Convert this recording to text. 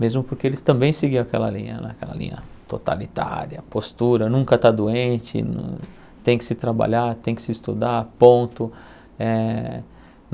Mesmo porque eles também seguiam aquela linha né aquela linha totalitária, postura, nunca está doente, tem que se trabalhar, tem que se estudar, ponto.